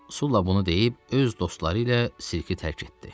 Sulla bunu deyib öz dostları ilə sirki tərk etdi.